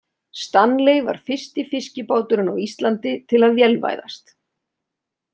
Stanley var fyrsti fiskibáturinn á Íslandi til að vélvæðast.